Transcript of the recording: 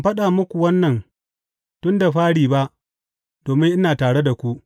Ban faɗa muku wannan tun da fari ba domin ina tare da ku.